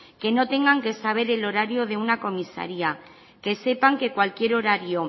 que no tengan que saber el horario de una comisaría que sepan que cualquier horario